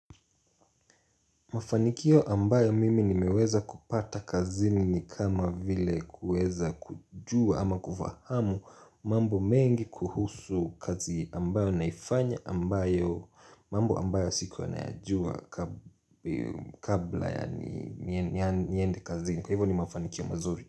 Mafanikio ambayo mimi nimeweza kupata kazini ni kama vile kuweza kujua ama kufahamu mambo mengi kuhusu kazi ambayo naifanya ambayo mambo ambayo sikuwa nayajua kabla ya niende kazini. Hivo ni mafanikio mazuri.